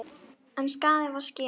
En skaðinn var skeður.